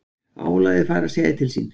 Álagið farið að segja til sín